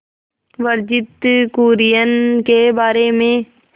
वर्गीज कुरियन के बारे में